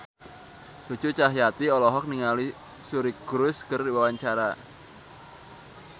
Cucu Cahyati olohok ningali Suri Cruise keur diwawancara